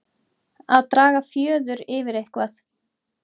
Að draga fjöður yfir eitthvað